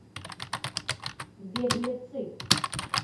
беглецы